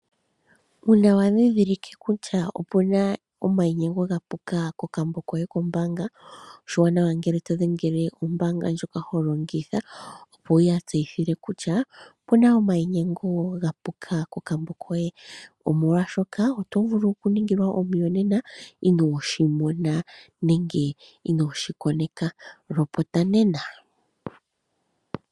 Uuna wa ndhindhilike kutya opu na omayinyengo ga puka kokambo koye kombaanga, oshiwanawa ngele todhengele ombaanga ndjoka ho longitha opo wu ya tseyithile kutya opu na omayinyengo ga puka kokambo koye omolwashoka oto vulu okuningilwa omiyonena inooshi mona nenge inooshi koneka, lopota nena.